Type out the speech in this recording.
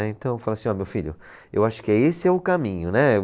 Então eu falo assim, ó meu filho, eu acho que é esse é o caminho, né.